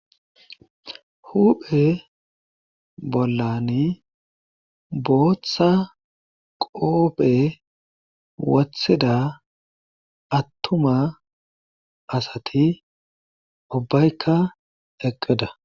Huphe bollani booththa qoope wathida attuma asati ubbaykka eqqida